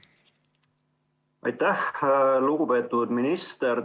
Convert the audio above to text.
Aitäh, lugupeetud minister!